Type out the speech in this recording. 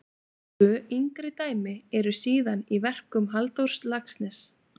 Tvö yngri dæmi eru síðan í verkum Halldórs Laxness.